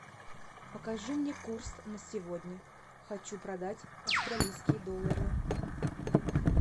покажи мне курс на сегодня хочу продать австралийские доллары